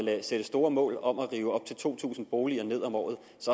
sætte store mål om at rive op til to tusind boliger ned om året